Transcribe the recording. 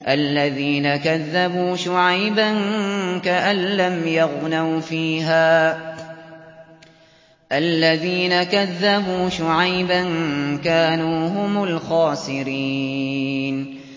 الَّذِينَ كَذَّبُوا شُعَيْبًا كَأَن لَّمْ يَغْنَوْا فِيهَا ۚ الَّذِينَ كَذَّبُوا شُعَيْبًا كَانُوا هُمُ الْخَاسِرِينَ